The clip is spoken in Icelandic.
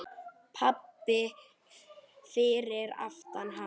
Pabbi fyrir aftan hana: